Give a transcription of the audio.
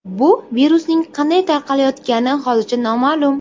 Bu virusning qanday tarqalayotgani hozircha noma’lum.